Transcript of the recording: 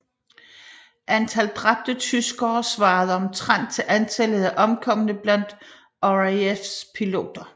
Antal dræbte tyskere svarede omtrent til antallet af omkomne blandt RAFs piloter